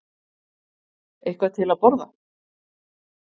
Eitthvað til að borða?